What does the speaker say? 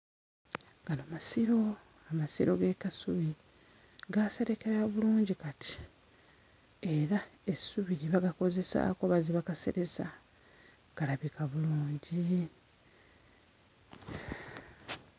Gano masiro amasiro g'e Kasubi gaaserekera bulungi kati era essubi lye bagakozesaako oba ze bakaseresa galabika bulungi.